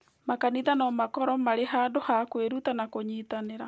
Makanitha no makorũo marĩ handũ ha kwĩruta na kũnyitanĩra.